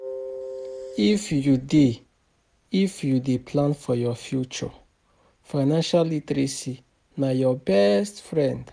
If you dey If you dey plan for your future, financial literacy na your best friend